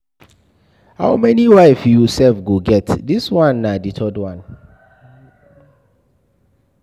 How many wife you sef go get, dis one na the third one.